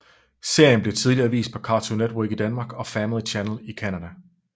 Serien blev tidligere vist på Cartoon Network i Danmark og Family Channel i Canada